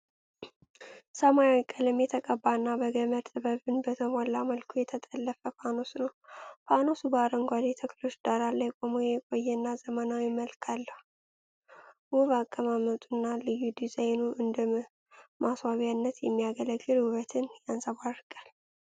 ሰማያዊ ቀለም የተቀባና በገመድ ጥበብን በተሞላ መልኩ የተጠለፈ ፋኖስ ነው። ፋኖሱ በአረንጓዴ ተክሎች ዳራ ላይ ቆሞ የቆየና ዘመናዊ መልክ አለው። ውብ አቀማመጡና ልዩ ዲዛይኑ እንደ ማስዋቢያነት የሚያገለግል ውበትን ያንጸባርቃል።